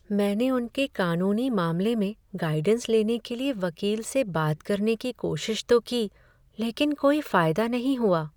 मैंने उनके कानूनी मामले में गाइडेंस लेने के लिए वकील से बात करने की कोशिश तो की, लेकिन कोई फायदा नहीं हुआ!